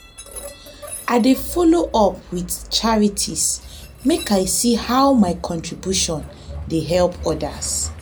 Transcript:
i dey do follow up with charities make i see how my contributions dey help others.